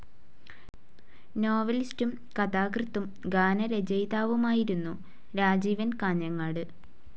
നോവലിസ്റ്റും, കഥാകൃത്തും, ഗാനരചയിതാവുമായിരുന്നു രാജീവൻ കാഞ്ഞങ്ങാട്.